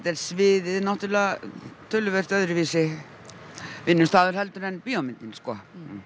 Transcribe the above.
er sviðið töluvert öðruvísi vinnustaður heldur en bíómyndin sko